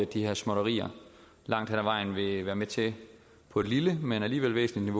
de her småtterier langt hen ad vejen vil være med til på et lille men alligevel væsentligt